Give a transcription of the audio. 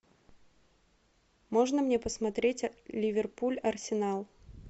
можно мне посмотреть ливерпуль арсенал